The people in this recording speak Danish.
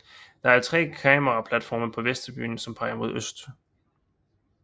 Der er tre kameraplatforme på vesttribunen som peger mod øst